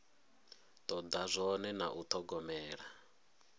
toda zwone na u thogomela